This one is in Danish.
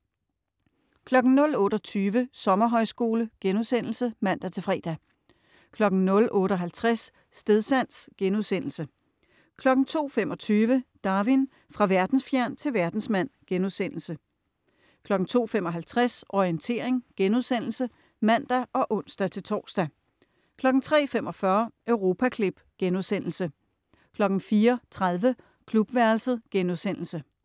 00.28 Sommerhøjskole* (man-fre) 00.58 Stedsans* 02.25 Darwin: Fra verdensfjern til verdensmand* 02.55 Orientering* (man og ons-tors) 03.45 Europaklip* 04.30 Klubværelset*